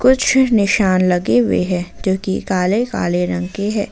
कुछ निशान लगे हुए हैं जो कि काले काले रंग के है।